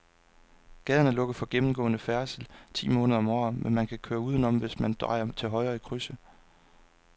Gaden er lukket for gennemgående færdsel ti måneder om året, men man kan køre udenom, hvis man drejer til højre i krydset.